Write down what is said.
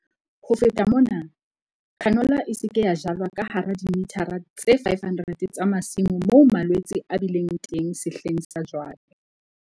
Ho feta mona, canola e se ke ya jalwa ka hara dimithara tse 500 tsa masimo moo malwetse a bileng teng sehleng sa jwale.